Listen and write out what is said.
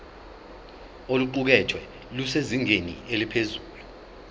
oluqukethwe lusezingeni eliphezulu